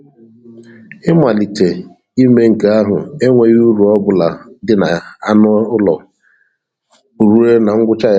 Ị malitē ime nke ahụ, enweghị uru ọ bụla di na anụ ụlọ ruo na ngwụcha ya